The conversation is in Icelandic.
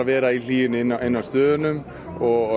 vera í hlýjunni inni á stöðunni og